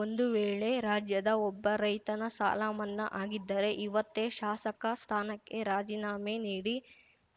ಒಂದು ವೇಳೆ ರಾಜ್ಯದ ಒಬ್ಬ ರೈತನ ಸಾಲ ಮನ್ನಾ ಆಗಿದ್ದರೆ ಇವತ್ತೇ ಶಾಸಕ ಸ್ಥಾನಕ್ಕೆ ರಾಜೀನಾಮೆ ನೀಡಿ